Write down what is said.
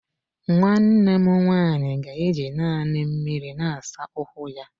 Nwanne m nwanyị ga-eji naanị mmiri na-asa ụkwụ ya.